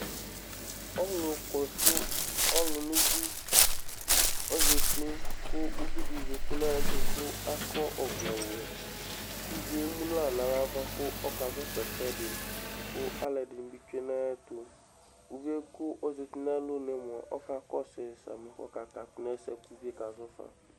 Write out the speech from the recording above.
Ɔlu kɔsu ɔlu lʋ ʋbʋi ɔzɛti kʋ ʋviɖi zɛti ŋu ayɛtʋ kʋ akɔ ɔvlɛ wɛ Uvíe ɛmu ŋu aɣla ŋu ava kʋ ɔka zɔfa ɛsɛɖi Ɔlɔɖìŋí bi tsue ŋayɛtʋ Uvíe kʋ ɔzɛti ŋu alɔŋu mʋa ɔka kɔsʋi sami kʋ ɔka katʋ ŋu ɛsɛ bʋakʋ ʋvie kasɔfa